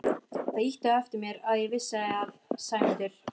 Það ýtti á eftir mér að ég vissi að Sæmundur